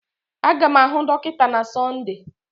Aga m ahụ dọkịta na Sọnde